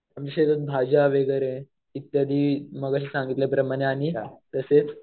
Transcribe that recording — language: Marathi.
आमच्या शेतात भाज्या वगैरे इत्यादी मगाशी सांगितल्या प्रमाणे आणि तसेच